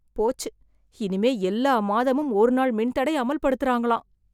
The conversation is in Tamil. போச்சு இனிமே எல்லா மாதமும் ஒரு நாள் மின் தடை அம‌ல் படுத்துறாங்களாம்.